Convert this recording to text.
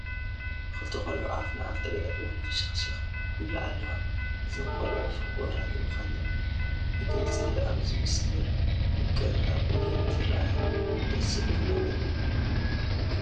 ክልተ ቆልዑ ኣብ ንኣፍ ገጢመን ሕሹኽሽክ ይብላ ኣለዋ፡፡ እዘን ቆልዑ ፍቑራት ምዃነን ብግልፂ ኣብ ዝምስክር ምቅርራብ እየን ዝርአያ፡፡ ደስ ዝብል ነገር እዩ፡፡